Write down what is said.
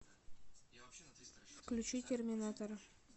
включи терминатор